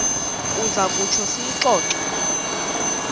uza kutsho siyixoxe